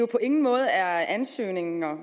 på ingen måde er ansøgninger